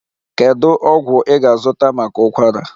Kedu ọgwụ ị ga-azụta maka ụkwara?